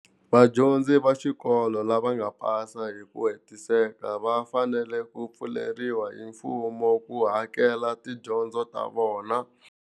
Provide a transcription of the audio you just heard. Vadyondzi va xikolo lava nga pasa hi ku hetiseka va fanele ku pfuleriwa hi mfumo ku hakela tidyondzo ta vona.